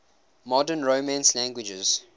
modern romance languages